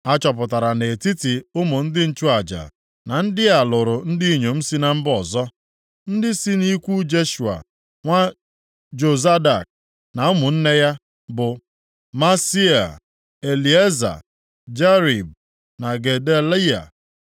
A chọpụtara nʼetiti ụmụ ndị nchụaja, na ndị a lụrụ ndị inyom si na mba ọzọ. Ndị si nʼikwu Jeshua nwa Jozadak na ụmụnne ya bụ, Maaseia, Elieza, Jarib na Gedaliya.